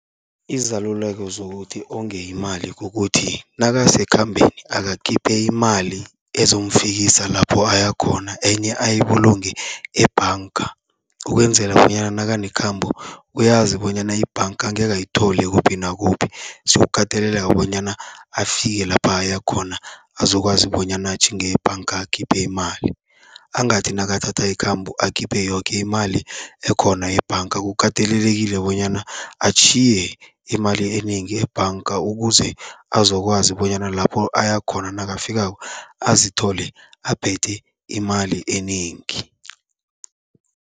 Izaluleko zokuthi onge imali kukuthi, nakasekhambeni akakhiphe imali ezomfikisa lapho ayakhona enye ayibulunge ebhanga. Ukwenzela bonyana nakanekhambo uyazi bonyana ibhanga angekhe ayithole kuphi nakuphi, siyokukateleleka bonyana afike lapha aya khona azokwazi bonyana atjhinge ebhanga akhiphe imali. Angathi nakathatha ikhambo akhiphe yoke imali ekhona ebhanga, kukatelelekile bonyana atjhiye imali enengi ebhanga, ukuze azokwazi bonyana lapho aya khona nakafikako azithole aphethe imali enengi.